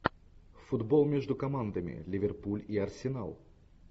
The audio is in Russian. футбол между командами ливерпуль и арсенал